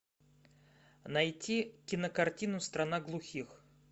найти кинокартину страна глухих